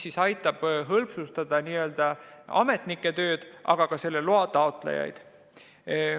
See aitab hõlbustada ametnike tööd, aga ka loa taotlemist.